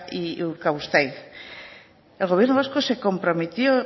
y urkabustaiz el gobierno vasco se comprometió